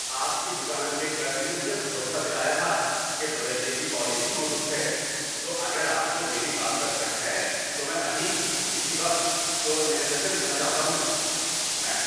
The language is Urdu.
آپ کی دکان کے کلرک نے مجھے بھروسا دلایا تھا کہ بدلنے کی پالیسی موجود ہے، تو اگر آپ کو میری بات پر شک ہے تو میں ابھی اسی وقت اسٹور مینیجر سے ملنا چاہتا ہوں۔ (میں)